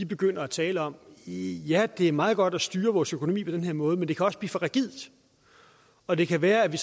begynder at tale om ja det er meget godt at styre vores økonomi på den her måde men det kan også blive for rigidt og det kan være at vi